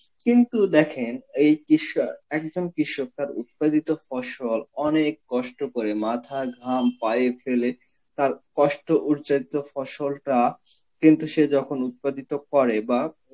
কিন্তু দেখেন এই কিষ্য~ এক একজন কৃষ্য তার উৎপাদিত ফসল অনেক কষ্ট করে মাথার ঘাম পায়ে ফেলে তার কষ্ট উচ্চারিত ফসলটা কিন্তু সে যখন উৎপাদিত করে বা